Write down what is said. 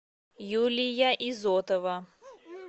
юлия изотова